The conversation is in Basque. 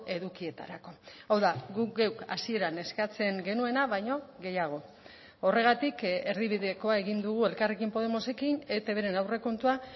edukietarako hau da guk geuk hasieran eskatzen genuena baino gehiago horregatik erdibidekoa egin dugu elkarrekin podemosekin etbren aurrekontua